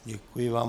Děkuji vám.